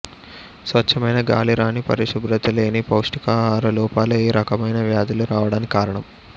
స్వచ్ఛమైన గాలిరాని పరిశుభ్రతలేని పౌష్టికాహార లోపాలు ఈ రకమైన వ్యాధులు రావడానికి కారణం